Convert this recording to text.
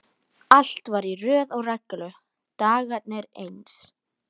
Allt var í röð og reglu, dagarnir eins.